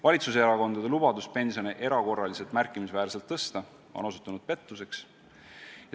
Valitsuserakondade lubadus pensione erakorraliselt märkimisväärselt tõsta on osutunud pettuseks.